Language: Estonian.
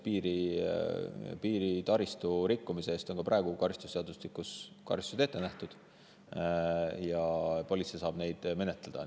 Piiritaristu rikkumise eest on ka praegu karistusseadustikus karistused ette nähtud ja politsei saab neid menetleda.